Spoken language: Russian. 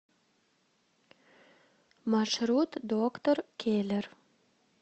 маршрут доктор келлер